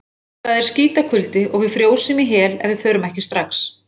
Það er skítakuldi og við frjósum í hel ef við förum ekki strax.